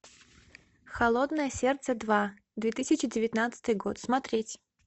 холодное сердце два две тысячи девятнадцатый год смотреть